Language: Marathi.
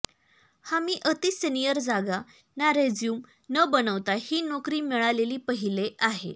हा मी अति सिनिअर जागा ना रेस्युम न बनवता हि नोकरी मिळालेली पहिले आहे